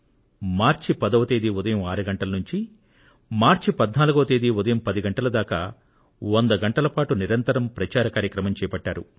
మార్చి 10వ తేదీ ఉదయం 6 గంటల నుండి మార్చి 14 ఉదయం 10 గంటల దాకా 100 గంటల పాటు నిరంతర ప్రచార కార్యక్రమం చేపట్టారు